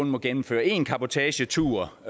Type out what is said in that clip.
må gennemføre én cabotagetur